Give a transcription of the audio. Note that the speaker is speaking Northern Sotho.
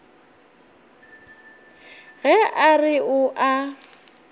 ge a re o a